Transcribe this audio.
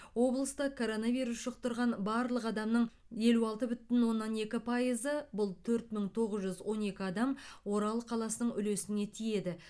облыста коронавирус жұқтырған барлық адамның елу алты бүтін оннан екі пайызы бұл төрт мың тоғыз жүз он екі адам орал қаласының үлесіне тиеді